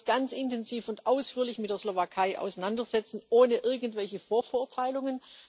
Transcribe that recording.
Wir werden uns ganz intensiv und ausführlich mit der Slowakei auseinandersetzen, ohne irgendwelche Vorverurteilungen.